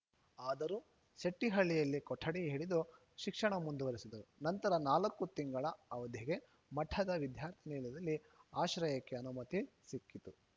ಆದರೂ ಸೆಟ್ಟಿಹಳ್ಳಿಯಲ್ಲಿ ಕೊಠಡಿ ಹಿಡಿದು ಶಿಕ್ಷಣ ಮುಂದುವರಿಸಿದರು ನಂತರ ನಾಲ್ಕು ತಿಂಗಳ ಅವಧಿಗೆ ಮಠದ ವಿದ್ಯಾರ್ಥಿನಿಲಯದಲ್ಲಿ ಆಶ್ರಯಕ್ಕೆ ಅನುಮತಿ ಸಿಕ್ಕಿತು